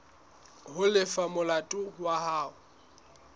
ho lefa molato wa hao